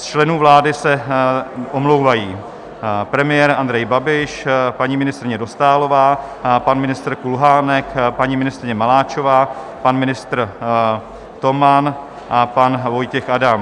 Z členů vlády se omlouvají: premiér Andrej Babiš, paní ministryně Dostálová, pan ministr Kulhánek, paní ministryně Maláčová, pan ministr Toman a pan Vojtěch Adam.